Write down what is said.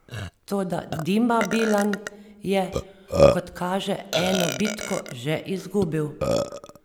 Toda Dima Bilan je, kot kaže eno bitko že izgubil.